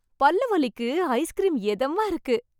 பல்லு வலிக்கு ஐஸ்கிரீம் எதமா இருக்கு